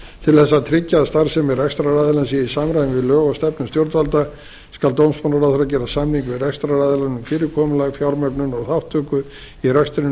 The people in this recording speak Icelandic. til þess að tryggja að starfsemi rekstraraðilans sé í samræmi við lög og stefnu stjórnvalda skal dómsmálaráðherra gera samning við rekstraraðilann um fyrirkomulag fjármögnun og þátttöku í rekstrinum þar á